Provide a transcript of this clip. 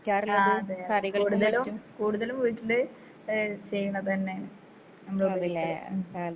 ആ അതെ കൂടുതലും കൂടുതലും വീട്ടില് ഏ ചെയ്യ്ണതന്നേണ് നമ്മളുപയോഗിക്കാ ആ.